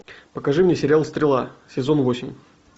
покажи мне сериал стрела сезон восемь